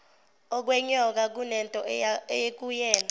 okwenyoka kunento ekuyena